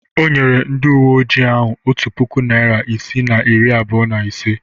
O nyere ndị uwe ojii ahụ otu puku naịra isii na iri abụọ na ise